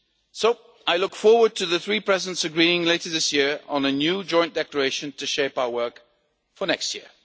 So I look forward to the three Presidents' agreeing later this year on a new joint declaration to shape our work for next